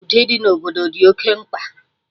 Udo ịdị na obodo dị oké mkpa